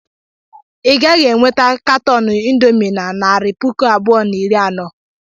I gaghị e nweta katọn indomii na naịra puku abụọ na iri anọ.